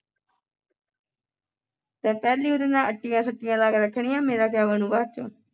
ਤੇਐ ਪਹਿਲਾਂ ਹੀ ਉਹਦੇ ਨਾਲ ਅਟੀਆਂ ਸਟੀਆਂ ਲਾ ਕੇ ਰੱਖਣੀ ਆਂ ਮੇਰਾ ਕਿਆ ਬਣੂੰਗਾ ਬਾਦ ਚੋਂ